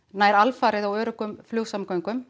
nær alfarið á öruggum flugsamgöngum